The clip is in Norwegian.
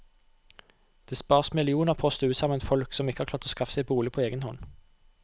Det spares millioner på å stue sammen folk som ikke har klart å skaffe seg bolig på egen hånd.